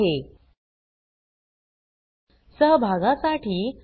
या ट्यूटोरियल चे भाषांतर कविता साळवे यांनी केले असून मी रंजना भांबळे आपला निरोप घेते